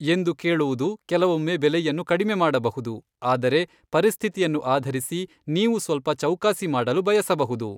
ಎಂದು ಕೇಳುವುದು ಕೆಲವೊಮ್ಮೆ ಬೆಲೆಯನ್ನು ಕಡಿಮೆ ಮಾಡಬಹುದು, ಆದರೆ ಪರಿಸ್ಥಿತಿಯನ್ನು ಆಧರಿಸಿ, ನೀವು ಸ್ವಲ್ಪ ಚೌಕಾಸಿ ಮಾಡಲು ಬಯಸಬಹುದು.